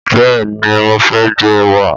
Bẹ́ẹ̀ni mo fẹ́ jẹ ẹ̀wà.